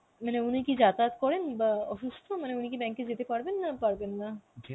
মানে উনি কি যাতায়াত করেন বা অসুস্থ মানে উনি কি bank এ যেতে পারবেন, না পারবেন না?